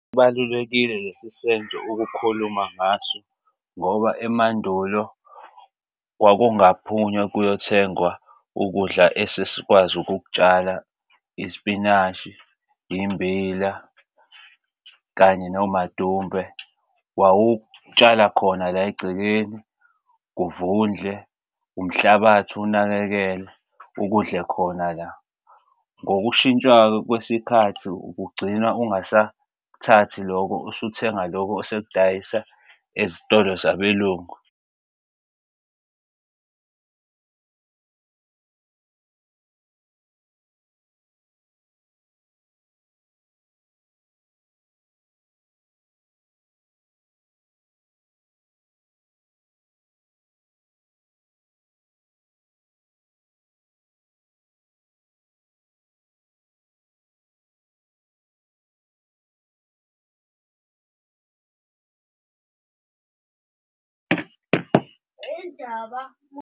Kubalulekile lesi senzo ukukhuluma ngaso ngoba emandulo kwakungaphunywa kuyothengwa ukudla esesikwazi ukuk'tshala isipinashi, immbila kanye nomadumbe. Wawutshala khona la egcekeni kuvundle, umhlabathi unakekele ukudle khona la ngokushintshwa-ke kwesikhathi ugcinwa ungasathathi loko, usuthenga loko osekudayisa ezitolo zabelungu.